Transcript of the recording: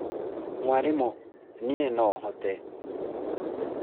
mwarimũ, niĩ no hote